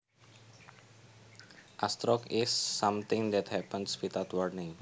A stroke is something that happens without warning